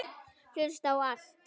Hlusta á allt!!